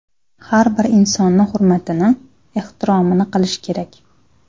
Har bir insonni hurmatini, ehtiromini qilish kerak.